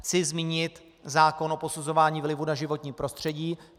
Chci zmínit zákon o posuzování vlivu na životní prostředí.